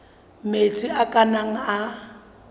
metsi a ka nnang a